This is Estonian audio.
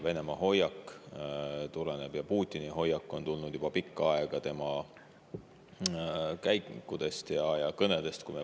Venemaa hoiak, Putini hoiak on tulnud juba pikka aega välja tema käikudest ja kõnedest.